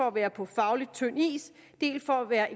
at være på faglig tynd is dels for at være